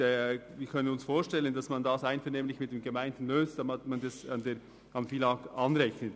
Wir können uns vorstellen, dass man dieses Problem einvernehmlich mit den Gemeinden löst und die Kosten über das FILAG abrechnet.